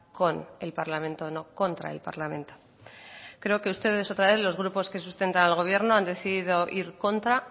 con el parlamento no contra el parlamento creo que ustedes otra vez los grupos que sustentan al gobierno han decidido ir contra